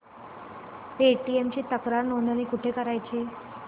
Paytm ची तक्रार नोंदणी कुठे करायची